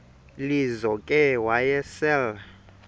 lizo ke wayesel